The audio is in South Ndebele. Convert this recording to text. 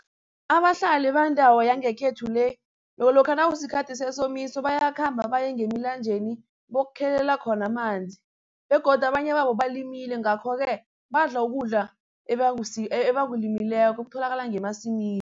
Abahlali bendawo yangekhethu le lokha nakusikhathi sesomiso bayakhamba baye ngemilanjeni bokukhelela khona amanzi begodu abanye babo balimele ngakho-ke badla ukudla ebakulimileko okutholakala ngemasimini.